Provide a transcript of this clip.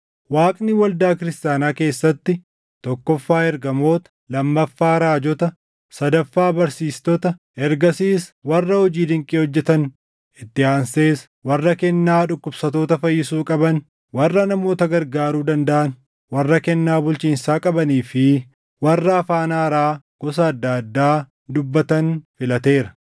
Waaqni waldaa Kiristaanaa keessatti tokkoffaa ergamoota, lammaffaa raajota, sadaffaa barsiistota, ergasiis warra hojii dinqii hojjetan, itti aansees warra kennaa dhukkubsattoota fayyisuu qaban, warra namoota gargaaruu dandaʼan, warra kennaa bulchiinsaa qabanii fi warra afaan haaraa gosa addaa addaa dubbatan filateera.